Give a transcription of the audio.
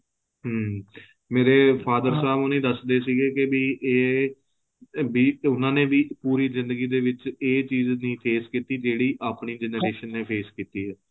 ਹਮ ਮੇਰੇ father Saab ਹੋਣੀ ਦੱਸਦੇ ਸੀ ਕਿ ਇਹ ਭੀ ਉਹਨਾਂ ਨੇ ਵੀ ਪੂਰੀ ਜ਼ਿੰਦਗੀ ਦੇ ਵਿੱਚ ਇਹ ਚੀਜ ਦੀ phase ਕੀਤੀ ਜਿਹੜੀ ਆਪਣੀ generation ਨੇ phase ਕੀਤੀ ਹੈ